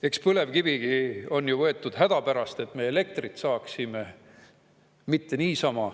Eks põlevkivigi on ju võetud hädapärast, et me elektrit saaksime, mitte niisama.